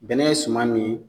Bɛnɛ ye suma min ye